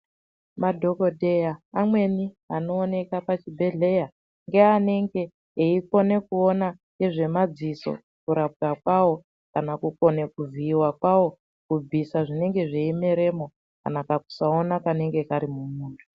Madhokodheya amweni anooneka pachibhedhlera ngeanenge eikona kuona ngezvemadziso kurapwa kwawo kana kuzviiwa kwawo kubvisa zvinenge zveimerwmo kana kakusaona kanenge kari mumuntu.